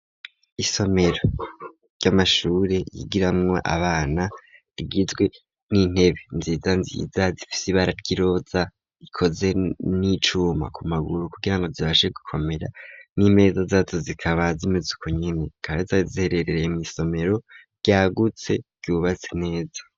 Isomero ry'amashuri yigiramwo abana ,rigizwe n'intebe nziza nziza, zifise Ibara ryiroza ,ikoze n'icuma, ku maguru kugirango zibashe gukomera ,n'imeza zitatu, zikaba z'imezuko nyene zikaba ziherereye mw' isomero ryagutse vyubatse neza.